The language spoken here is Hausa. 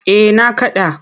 Eh na kaɗa.